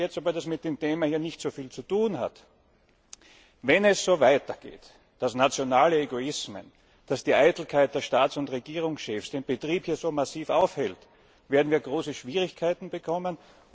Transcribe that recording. Ich sage jetzt wobei das mit dem Thema hier nicht so viel zu tun hat wenn es so weitergeht, dass nationale Egoismen, dass die Eitelkeit der Staats und Regierungschefs den Betrieb hier so massiv aufhalten, werden wir große Schwierigkeiten bekommen!